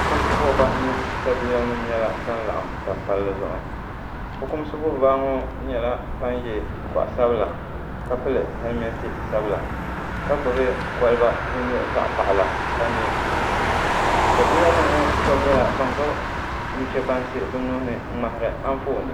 fukimsi buɣ'bahi mini sabiilanima nyɛla ban n-laɣim tam palli zuɣu fukumsi buɣ'bahi ŋɔ nyɛla ban ye goɣ'sabila ka pili helimentii sabila ka gbibi koliba din nye zaɣ'paɣila ka ne sabiilanima ŋɔ shɛba nyɛla ban gbibi nu'chebansi bɛ nuhi ni n-ŋmahiri anfooni